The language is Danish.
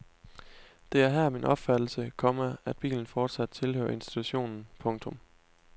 Det er her min opfattelse, komma at bilen fortsat tilhører institutionen. punktum